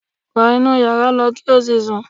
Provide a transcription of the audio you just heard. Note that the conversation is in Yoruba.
Wọ inú yàrá lọ kí ó lọ sùn!